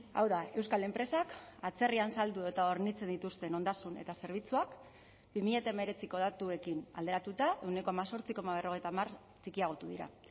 hau da euskal enpresak atzerrian saldu eta hornitzen dituzten ondasun eta zerbitzuak bi mila hemeretziko datuekin alderatuta ehuneko hemezortzi koma berrogeita hamar txikiagotu dira